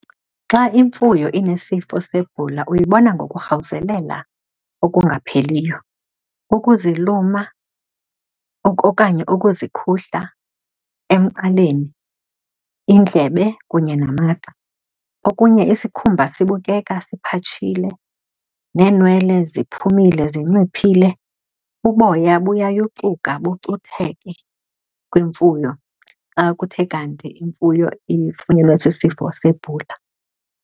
Xa imfuyo inesifo sebhula uyibona ngokurhawuzelela okungapheliyo, ukuziluma, okanye ukuzikhuhla emqaleni, iindlebe, kunye namagxa. Okunye, isikhumba sibukela siphatshile, neenwele ziphumile zinciphile. Uboya buyayucuka bucutheke kwimfuyo xa kuthe kanti imfuyo ifunyenwe sisifo sebhula.